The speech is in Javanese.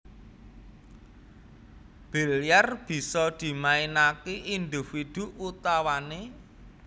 Bilyar bisa dimainake individu utawane